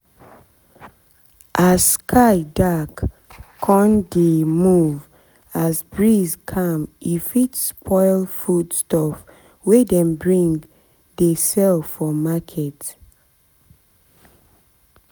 as sky dark con dey move as breeze calm e fit spoil food stuff wey dem bring dey sell for market